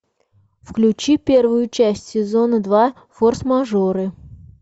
включи первую часть сезона два форс мажоры